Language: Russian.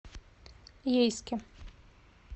ейске